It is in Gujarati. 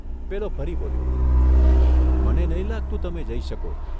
પેલો ફરી બોલ્યો ' મને નહીં લાગતું તમે જઇ શકો.